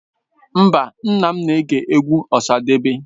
Mba, nna m na-ege egwu Osadebe.